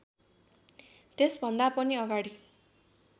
त्यसभन्दा पनि अगाडि